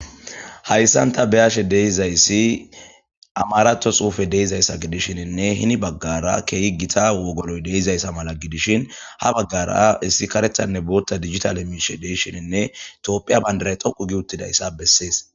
Hayissan ta beyashe deizayssi amarato xuufe deizayssa gidishininne hini baggara keehi gita wogoloy deizayssa mala gidishin ha baggara issi karethanne bootta digital e miishe deishininne itoophiya bayndaray toqu gi uttida issa bessees